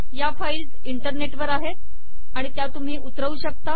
या फाईल्स इंटरनेटवर आहेत आणि त्या तुम्ही उतरवू शकता